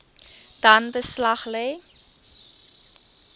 dan beslag lê